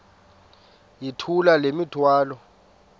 yithula le mithwalo